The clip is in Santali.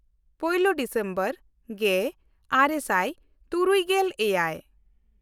ᱯᱳᱭᱞᱳ/ ᱢᱤᱫ ᱰᱤᱥᱮᱢᱵᱚᱨ ᱜᱮᱼᱟᱨᱮ ᱥᱟᱭ ᱛᱩᱨᱩᱭᱜᱮᱞ ᱮᱭᱟᱭ